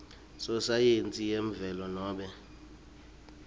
sosayensi yemvelo nobe